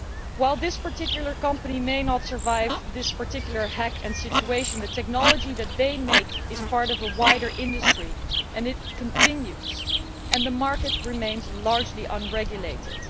While this particular company may not survive this particular hack and this situation, the technology that they make is part of a wider industry and it continues and the market remains largely unregulated.